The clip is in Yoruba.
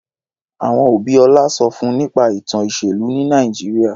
Àwọn òbí Ọlá sọ fún nípa ìtàn ìṣèlú ní Nàìjíríà.